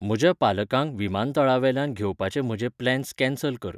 म्हज्या पालकांक विमानतळावेल्यान घेवपाचे म्हजे प्लॅन्स कँसल कर